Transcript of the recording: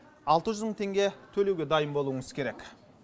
алты жүз мың теңге төлеуге дайын болуыңыз керек